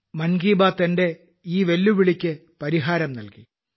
മൻ കി ബാത്ത് എന്റെ ഈ വെല്ലുവിളിയ്ക്ക് ഒരു പരിഹാരം നൽകി